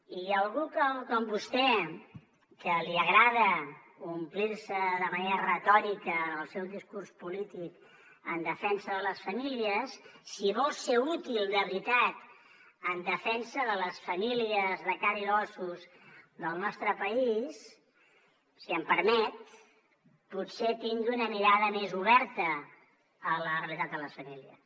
i a algú com vostè que li agrada omplir se de manera retòrica en el seu discurs polític en defensa de les famílies si vol ser útil de veritat en defensa de les famílies de carn i ossos del nostre país si em permet potser tingui una mirada més oberta a la realitat de les famílies